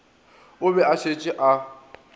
o be a šetše a